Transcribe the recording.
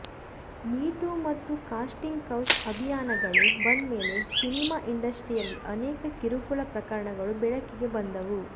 me too ಮತ್ತು casting couch ಅಭಿಯಾನಗಳು ಬಂದ್ಮೇಲೆ ಸಿನಿಮಾ ಇಂಡಸ್ಟ್ರಿಯಲ್ಲಿ ಅನೇಕ ಕಿರುಕುಳ ಪ್ರಕರಣಗಳು ಬೆಳಕಿಗೆ ಬಂದವು